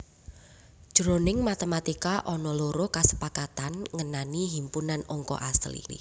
Jroning matematika ana loro kasepakatan ngenani himpunan angka asli